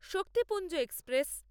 Shaktipunj express